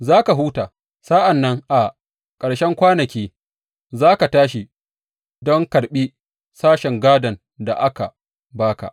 Za ka huta, sa’an nan a ƙarshen kwanaki za ka tashi don karɓi sashen gadon da aka ba ka.